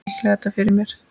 Ég miklaði þetta fyrir mér.